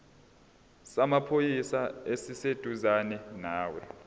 samaphoyisa esiseduzane nawe